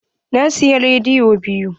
Na sayi jaridu biyu.